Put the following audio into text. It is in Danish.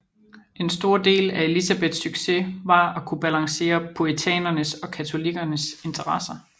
En stor del af Elizabeths succes var at kunne balancere puritanernes og katolikkerne interesser